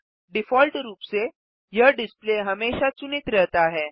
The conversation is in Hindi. डिफ़ॉल्ट रूप से यह डिस्प्ले हमेशा चुनित रहता है